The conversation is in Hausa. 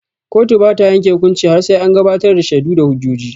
Kotu bata yanke hukunci har sai an gabatar da shaidu da hujjoji.